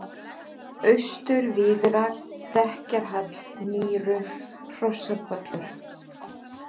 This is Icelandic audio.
Austur-Víðrar, Stekkjarhall, Nýru, Hrossapollur